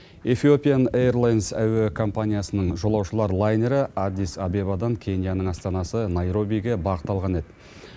эфиопиан эйрлейнес әуе компаниясының жолаушылар лайнері аддис абебадан кенияның астанасы найробиге бағыт алған еді